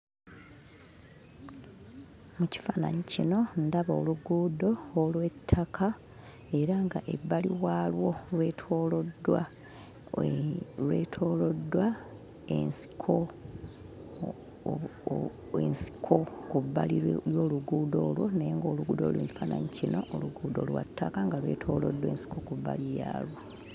Mu kifaananyi kino ndaba oluguudo olw'ettaka era ng'ebbali waalwo lwetooloddwa eee lwetooloddwa ensiko, ensiko ku bbali w'oluguudo olwo naye ng'oluguudo oluli mu kifaananyi kino oluguudo lwa ttaka nga lwetooloddwa ensiko ku bbali yaalwo.